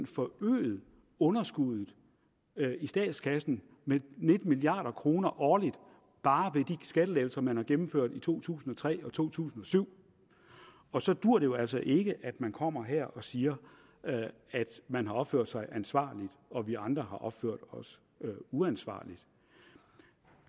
forøget underskuddet i statskassen med nitten milliard kroner årligt bare ved de skattelettelser man har gennemført i to tusind og tre og to tusind og syv og så duer det jo altså ikke at man kommer her og siger at man har opført sig ansvarligt og at vi andre har opført os uansvarligt